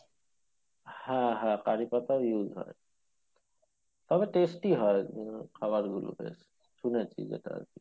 হ্যাঁ হ্যাঁ কারি পাতাও use হয় তবে tasty হয় খাবারগুলো বেশ শুনেছি যেটা আরকি